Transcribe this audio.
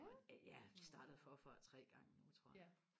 og ja startet forfra tre gange nu tror jeg